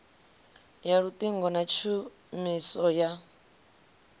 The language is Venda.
ya luṱingo na tshumiso ya